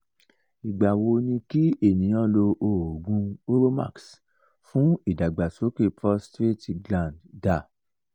igba wo ni ki eniyan lo ogun uromax fun idagbasoke prostrate gland da